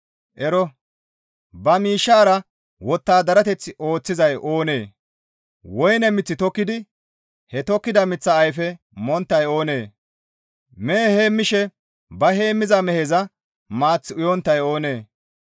Ero! Ba miishshara wottadarateth ooththizay oonee? Woyne mith tokkidi he tokkida miththaa ayfe monttay oonee? Mehe heemmishe ba heemmiza meheza maath uyonttay oonee?